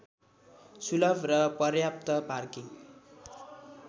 शुलभ र पर्याप्त पार्किङ